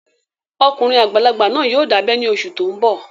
Ọkùnrin àgbàlagbà náà yóò dábẹ́ ní oṣù tó n bọ̀